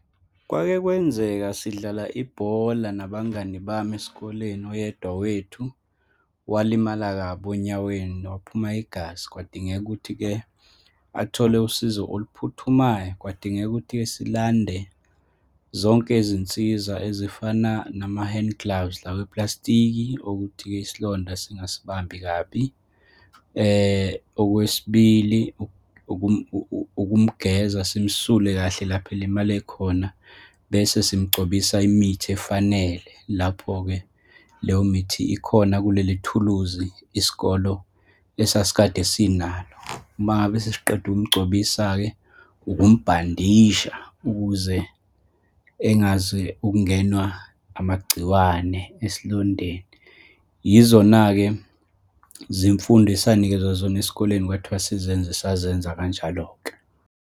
Kwake kwenzeka sidlala ibhola nabangani bami esikoleni, oyedwa wethu, walimala kabi onyaweni, waphuma igazi. Kwadingeka ukuthi-ke athole usizo oluphuthumayo. Kwadingeka ukuthi-ke silande zonke izinsiza ezifana nama-hand gloves, lawa awepulasitiki okuthi-ke isilonda singasibambi kabi. Okwesibili, ukumgeza, simsule kahle lapha elimale khona, bese simgcobisa imithi efanele. Lapho-ke leyo mithi ikhona kulelithuluzi isikolo esasikade sinalo. Uma ngabe sisiqeda ukumgcobisa-ke, ukumbhandisasha ukuze engaze ukungenwa amagciwane esilondeni. Yizona-ke zimfundo asenikezwa zona esikoleni, kwathiwa sizenze, sazenza kanjalo-ke.